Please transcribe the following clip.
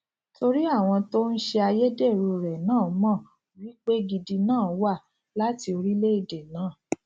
torí àwọn tó òun ṣe ayédèrú rẹ na mo wípé gidi na wa lati orílẹèdè na